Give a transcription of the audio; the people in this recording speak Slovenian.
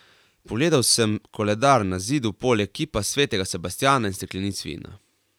Pogledal sem koledar na zidu poleg kipa svetega Sebastjana in steklenic vina.